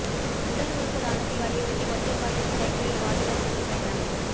உடல் உறுப்பு தானத்தை வலியுறுத்தி ஒற்றை காலில் சைக்கிளில் வாலிபர் சுற்றுப்பயணம்